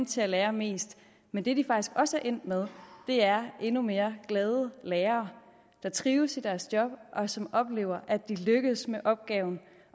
til at lære mest men det vi faktisk også er endt med er endnu mere glade lærere der trives i deres job og som oplever at de lykkes med den opgave